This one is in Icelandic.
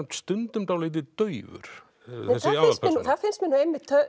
stundum dálítið daufur þessi aðalpersóna það finnst mér nú einmitt